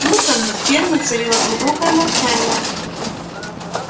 утром над фермой царило глубокое молчание